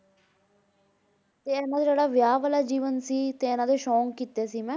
ਤੇ ਇਹਨਾਂ ਦਾ ਜਿਹੜਾ ਵਿਆਹ ਵਾਲਾ ਜੀਵਨ ਸੀ ਤੇ ਇਹਨਾਂ ਦੇ ਸ਼ੌਂਕ ਕੀਤੇ ਸੀ ਮੈਂ।